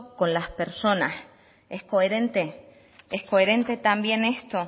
con las personas es coherente es coherente también esto